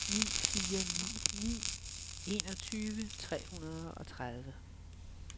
ni fire ni ni enogtyve tre hundrede og tredive